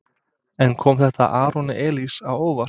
En kom þetta Aroni Elís á óvart?